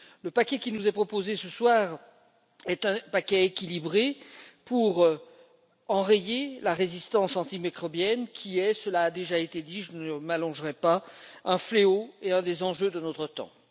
Le paquet qui nous est proposé ce soir est un paquet équilibré pour enrayer la résistance aux antimicrobiens, qui est cela a déjà été dit, je ne m'éterniserai pas un fléau et un des enjeux de notre temps.